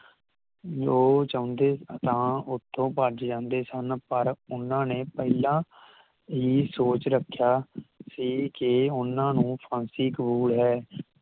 ਉਹ ਚਾਉਂਦੇ ਤਾਂ ਓਥੋਂ ਭੱਜ ਜਾਂਦੇ ਸਨ ਪਰ ਉਹਨਾਂ ਨੇ ਇਹ ਸੋਚ ਰੱਖਿਆ ਸੀ ਕਿ ਉਹਨਾਂ ਨੂੰ ਫਾਂਸੀ ਕਬੂਲ ਹੈ